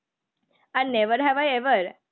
R never have a ever